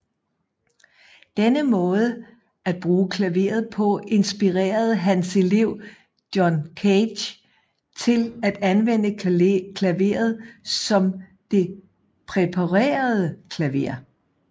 Denne måde at bruge klaveret på inspirerede Hans elev John Cage til at anvende klaveret som det præparerede klaver